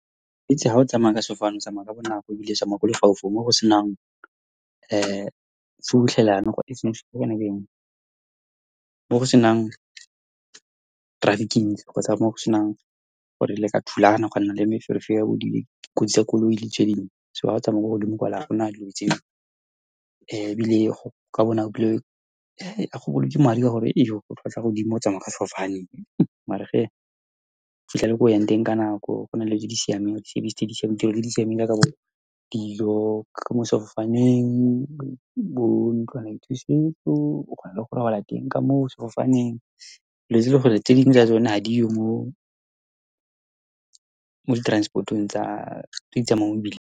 Ha o tsamaya ka sefofane, o tsamaya ka bonako ebile o tsamaya ko lefaufaung, mo go senang , mo go senang traffic e ntsi, kgotsa mo senang gore le ka thulana, a gwanna le meferefere ya bo , kotsi tsa koloi le . So ha o tsamaya ko godimo, kwa le ha gona dilo tseo, ebile go ka bonako ebile go madi, ka gore e jo o tlhwatlhwa godimo o tsamaya ka sefofaneng. Mare , o fitlha le ko o yang teng ka nako. Go na le dilo tse di siameng, di-service, di-tirelo tse di siameng, jaaka bo dilo ka mo sefofaneng, bo ntlwanaithusetso. O kgona le go robala teng ka mo sefofaneng, letse ele goreng tse dingwe tsa tsone gadiyo mo di transport-ong tsa tse di tsamayang mo .